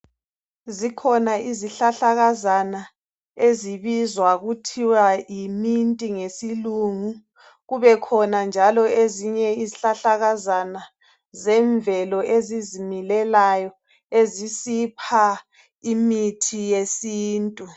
Zikhona izihlahlakazana ezibizwa kuthiwa yi 'mint' ngesilungu kube khona njalo ezinye izihlahlakazana zemvelo ezizimilelayo ezisipha imithi yesintu